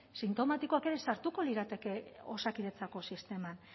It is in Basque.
sintomatikoak ere sartuko lirateke osakidetzako sisteman